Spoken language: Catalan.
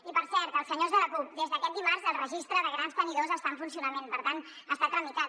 i per cert als senyors de la cup des d’aquest dimarts el registre de grans tenidors està en funcionament per tant està tramitat